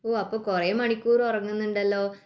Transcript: അപ്പൊ കുറെ മണിക്കൂർ ഉറങ്ങുന്നുണ്ടല്ലോ